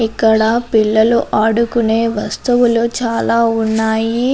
ఇక్కడ పిల్లలు ఆడుకొనే వస్తువులు చాల ఉన్నాయ్.